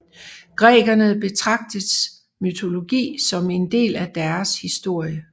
Grækerne betragtes mytologi som en del af deres historie